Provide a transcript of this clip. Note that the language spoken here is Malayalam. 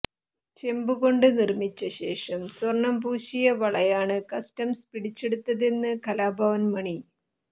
ചെമ്പുകൊണ്ട് നിര്മ്മിച്ചശേഷം സ്വര്ണംപൂശിയ വളയാണ് കസ്റ്റംസ് പിടിച്ചെടുത്തതെന്ന് കലാഭവന് മണി